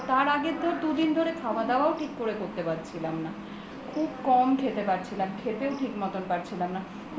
তার আগে তো দুদিন ধরে খাওয়া দাওয়া ও ঠিক করে করতে পারছিলাম না খুব কম খেতে পারছিলাম খেতেও ঠিক মতন পারছিলাম না